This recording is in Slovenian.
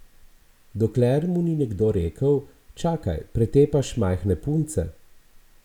Dokler mu ni nekdo rekel: 'Čakaj, pretepaš majhne punce?